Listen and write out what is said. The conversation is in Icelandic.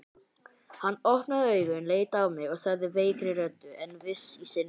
Hann opnaði augun, leit á mig og sagði veikri röddu en viss í sinni sök